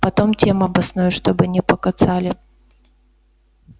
потом тем обоснуй чтобы не покоцали